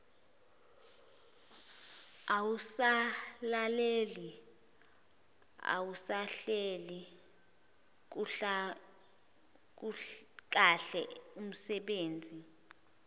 awusalaleli awusahleli kahleumsebenzi